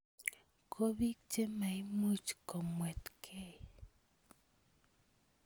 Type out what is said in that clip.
Ko bik chemaimuch komatkemei.